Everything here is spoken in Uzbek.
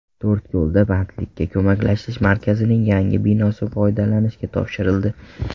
To‘rtko‘lda Bandlikka ko‘maklashish markazining yangi binosi foydalanishga topshirildi.